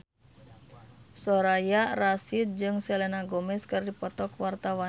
Soraya Rasyid jeung Selena Gomez keur dipoto ku wartawan